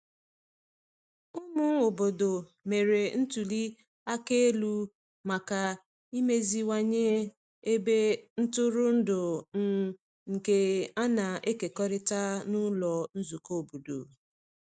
Ụmụ obodo mere ntuli aka elu maka imeziwanye ebe ntụrụndụ um nke a na-ekekọrịta n’ụlọ nzukọ obodo.